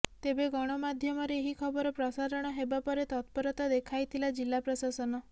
ତେବେ ଗଣମାଧ୍ୟମରେ ଏହି ଖବର ପ୍ରସାରଣ ହେବା ପରେ ତତ୍ପରତା ଦେଖାଇଥିଲା ଜିଲ୍ଲା ପ୍ରଶାସନ